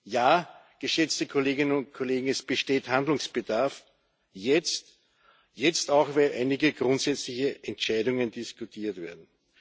Ja, geschätzte Kolleginnen und Kollegen, es besteht Handlungsbedarf jetzt, auch weil einige grundsätzliche Entscheidungen diskutiert werden.